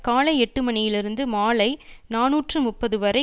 காலை எட்டு மணியிலிருந்து மாலை நாநூற்று முப்பது வரை